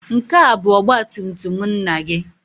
Nke a bụ ọgba tum tum nna gị?